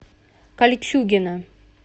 кольчугино